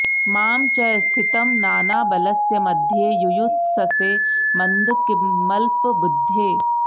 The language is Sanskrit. मां च स्थितं नानाबलस्य मध्ये युयुत्ससे मन्द किमल्पबुद्धे